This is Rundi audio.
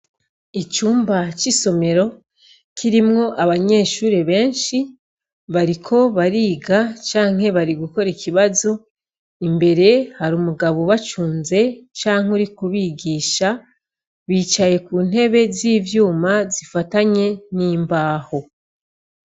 Icumba c'isomero kirimwo abanyeshure benshi, bariko bariga canke bari gukora ikibazo, imbere hari umugabo ubacunze canke uri kubigisha, bicaye ku ntebe z'ivyuma zifatanye n'imbaho.